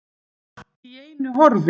Allt í einu horfin.